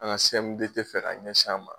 An ka CMDT fɛ ka ɲɛsin an ma.